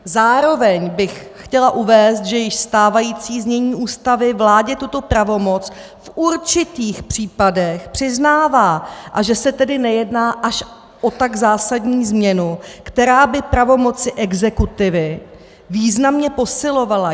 Zároveň bych chtěla uvést, že již stávající znění Ústavy vládě tuto pravomoc v určitých případech přiznává, a že se tedy nejedná až o tak zásadní změnu, která by pravomoci exekutivy významně posilovala.